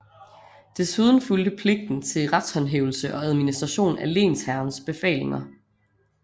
Desuden fulgte pligten til retshåndhævelse og administration af lensherrens befalinger